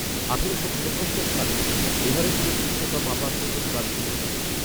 আঠেরোশো উনপঞ্চাশ সালে এভারেস্টের উচ্চতা মাপার প্রথম কাজ শুরু হয়